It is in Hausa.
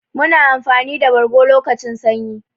Muna amfani da bargo lokacin sanyi.